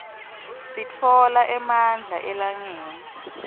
sitfola emandla elangeni